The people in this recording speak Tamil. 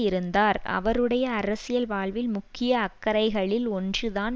இருந்தார் அவருடைய அரசியல் வாழ்வில் முக்கிய அக்கறைகளில் ஒன்று தான்